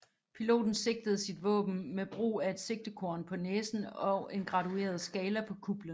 Piloten sigtede sit våben med brug af et sigtekorn på næsen og en gradueret skala på kuplen